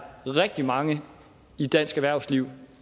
rigtig mange i dansk erhvervsliv